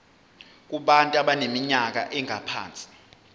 kubantu abaneminyaka engaphansi